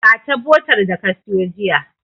Ba ta botar da ka siyo jiya.